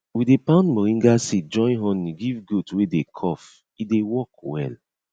we dey pound moringa seed join honey give goat wey dey cough e dey work well